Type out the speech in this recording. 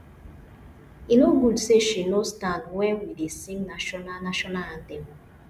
e no good say she no stand wen we dey sing national national anthem